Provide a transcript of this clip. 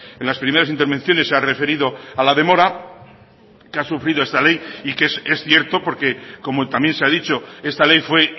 en las primeras intervenciones se ha referido a la demora que ha sufrido esta ley y que es cierto porque como también se ha dicho esta ley fue